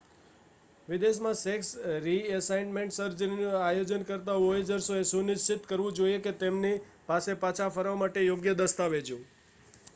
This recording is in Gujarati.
વિદેશમાં સેક્સ રિએસાઇનમેન્ટ સર્જરીનું આયોજન કરતા વોયેજર્સે એ સુનિશ્ચિત કરવું જોઈએ કે તેમની પાસે પાછા ફરવા માટે યોગ્ય દસ્તાવેજો